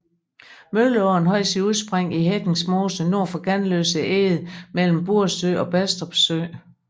Mølleåen har sit udspring i Hettings Mose nord for Ganløse Eged mellem Buresø og Bastrup sø